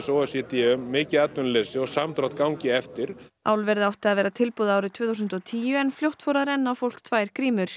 o e c d um mikið atvinnuleysi og samdrátt gangi eftir álverið átti að vera tilbúið árið tvö þúsund og tíu en fljótt fóru að renna á fólk tvær